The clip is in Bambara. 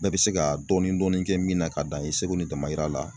Bɛɛ bɛ se ka dɔɔnin dɔɔnin dɔɔnin kɛ min na ka dan i seko n'i damayira la.